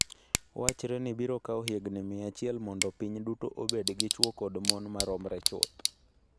Wachre ni biro kawo higini 100 mondo piny duto obed gi chwo koda mon moromore chuth.